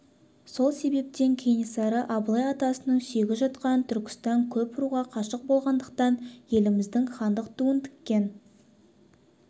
сол себептен кенесары абылай атасының сүйегі жатқан түркістан көп руға қашық болғандықтан еліміздің хандық туын тіккен